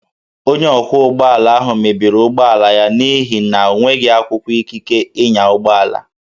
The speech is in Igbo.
Onye ọkwọ ụgbọala ahụ mebiri ụgbọala ya n'ihi na o nweghị akwụkwọ ikike ịnya ụgbọala